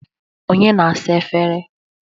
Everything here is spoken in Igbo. Onye na-asa efere?